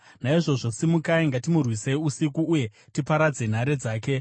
Naizvozvo simukai, ngatimurwisei usiku, uye tiparadze nhare dzake!”